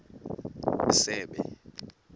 isebe